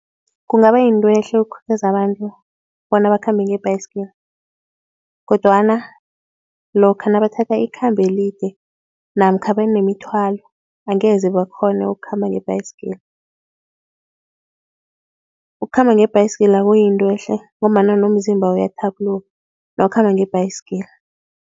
Kungaba yinto ehle ukukhuthaza abantu bona bakhambe ngebhayisikili. Kodwana lokha nabathatha ikhambo elide namkha banemithwalo angeze bakghone ukukhamba ngebhayisikili. Ukukhamba ngebhayisikili kuyinto ehle ngombana nomzimba uyathabuluka nawukhamba ngebhayisikili.